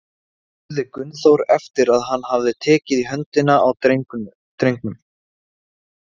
spurði Gunnþór, eftir að hann hafði tekið í höndina á drengnum.